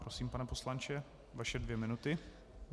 Prosím, pane poslanče, vaše dvě minuty.